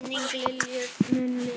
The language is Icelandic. Minning Lilju mun lifa.